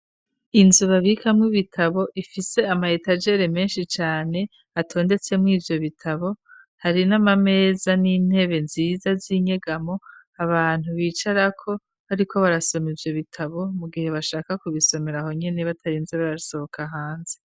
Inzubabikamwo ibitabo ifise amayetajere menshi cane atondetsemwo ivyo bitabo hari n'amameza n'intebe nziza z'inyegamo abantu bicarako, ariko barasoma ivyo bitabo mu gihe bashaka kubisomera aho nyene batarinze barasohoka hanze.